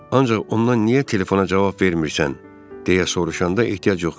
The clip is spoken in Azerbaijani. Ancaq ondan niyə telefona cavab vermirsən, deyə soruşanda ehtiyac yox idi.